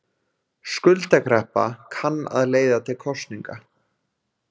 Skuldakreppa kann að leiða til kosninga